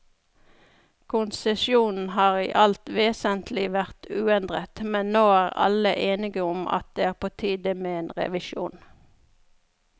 Konsesjonen har i alt vesentlig vært uendret, men nå er alle enige om at det er på tide med en revisjon.